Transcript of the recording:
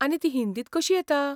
आनी ती हिंदींत कशी येता?